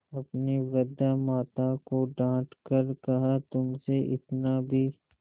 अपनी वृद्धा माता को डॉँट कर कहातुमसे इतना भी